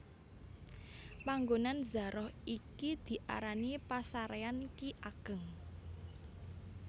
Panggonan zaroh iki diarani pasaréyan Ki Ageng